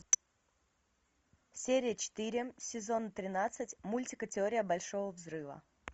серия четыре сезон тринадцать мультика теория большого взрыва